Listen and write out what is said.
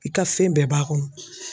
I ka fɛn bɛɛ b'a kɔnɔ.